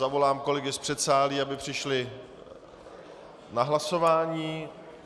Zavolám kolegy z předsálí, aby přišli na hlasování.